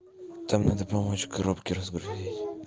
там надо помочь коробки разгрузить